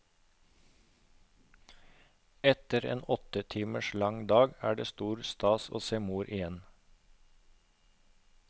Etter en åtte timer lang dag er det stor stas å se mor igjen.